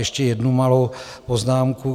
Ještě jednu malou poznámku.